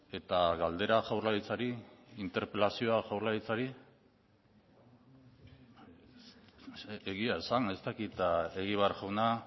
eta galdera jaurlaritzari interpelazioa jaurlaritzari egia esan ez dakit egibar jauna